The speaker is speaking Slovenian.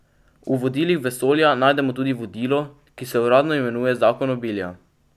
V vodilih vesolja najdemo tudi vodilo, ki se uradno imenuje zakon obilja.